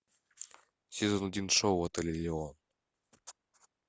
сезон один шоу отель элеон